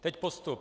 Teď postup.